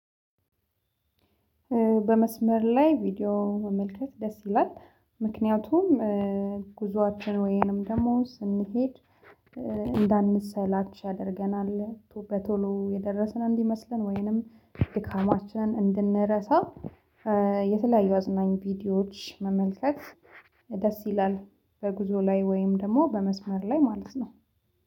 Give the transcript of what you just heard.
በመስመር ላይ ቪዲዮ መመልከት ደስ ይላል። ምክንያቱም ወይንም ደግሞ ስንሄድ እንዳንሰላች ያደርገናል። በቶሎ የደረስን እንዲመስለን ወይንም ድካማችን እንድንረሳ የተለያዩ አዝናኝ ቪዲዮዎች መመልከት ደስ ይላል። በጉዞ ላይ ወይም ደግሞ በመስመር ላይ ማለት ነው።